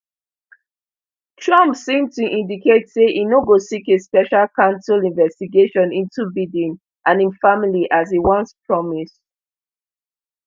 trump seemed to indicate say e no go seek a special counsel investigation into biden and im family as e once promised